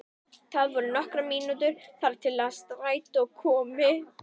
Það voru nokkrar mínútur þar til strætó kæmi.